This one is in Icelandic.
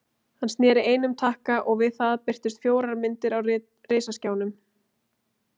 Hann sneri einum takka og við það birtust fjórar myndir á risaskjánum.